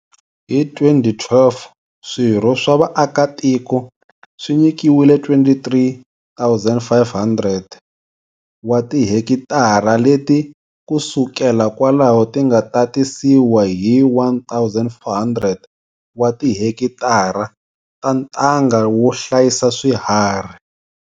Hi 2012 swirho swa vaakatiko swi nyikiwile 23 500 wa tihekitara leti ku sukela kwalaho ti nga tatisiwa hi 1 400 wa tihekitara ta ntanga wo hlayisa swiharhi.